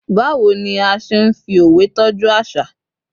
bawo ni a se n fi òwe tọju aṣa